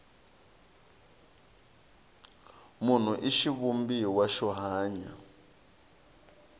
munhu i xivumbiwa xo hanya